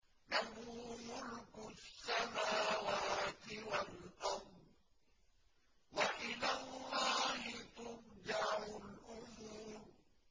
لَّهُ مُلْكُ السَّمَاوَاتِ وَالْأَرْضِ ۚ وَإِلَى اللَّهِ تُرْجَعُ الْأُمُورُ